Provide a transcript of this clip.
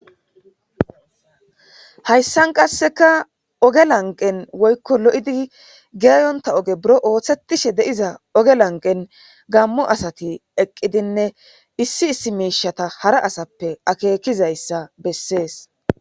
hayssan qasseka oge lanqen woykko lo7idi geeyonta oge buro ooththetishe deiza oge lanqen gammu asati eqqidinne issi issi miishata hara asappe akeekizayssa bessees